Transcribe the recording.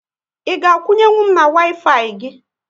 Ị ga akwunye nwu m na Waifai gị?